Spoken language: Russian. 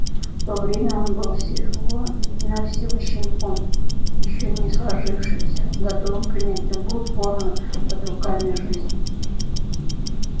в то время он был всего навсего щенком ещё не сложившимся готовым принять любую форму под руками жизни